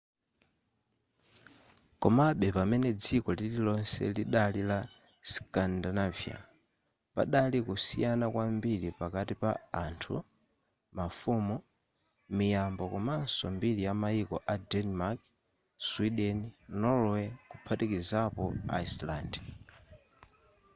komabe pamene dziko lirilonse lidali la scandinavia' padali kusiyana kwambiri pakati pa anthu mafumu miyambo komanso mbiri yamayiko a denmark sweden norway kuphatikizapo iceland